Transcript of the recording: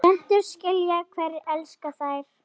Plöntur skynja hverjir elska þær